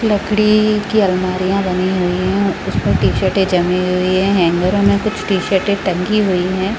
लकड़ी की अलमारीया बनी हुई है उस में टी शर्ट जमी हुई है हांगीर में कुछ टी शर्टे टंगे हुई है ।